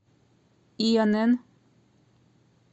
инн